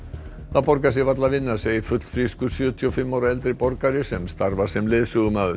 það borgar sig varla að vinna segir fullfrískur sjötíu og fimm ára eldri borgari sem starfar sem leiðsögumaður